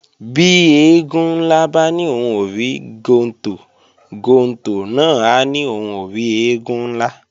Bí eégún ńlá bá ní òhun ò rí gontò, gontò náà á ní òhun ò rí eégún ńlá